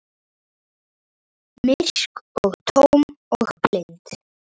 Myrk og tóm og blind.